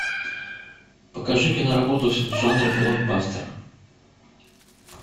покажи киноработу в жанре блокбастер